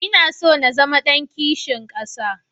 Ina so na zama ɗan kishin ƙasa.